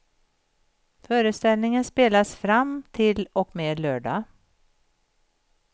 Föreställningen spelas fram till och med lördag.